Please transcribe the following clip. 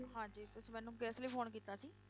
ਹਾਂਜੀ ਤੁਸੀਂ ਮੈਨੂੰ ਕਿਸ ਲਈ phone ਕੀਤਾ ਸੀ?